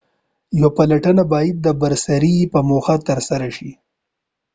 یوه پلټه باید د بررسۍ په موخه ترسره شي